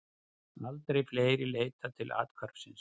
Aldrei fleiri leitað til athvarfsins